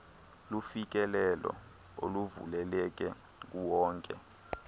lufikelelo oluvuleleke kuwonke